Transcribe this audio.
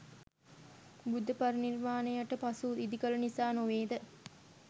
බුද්ධපරිනිර්වානයට පසු ඉදිකල නිසා නොවේද?